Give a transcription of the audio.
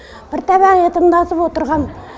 бір табақ етімді асып отырғам